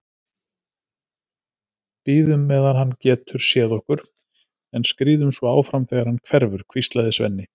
Bíðum meðan hann getur séð okkur, en skríðum svo áfram þegar hann hverfur, hvíslaði Svenni.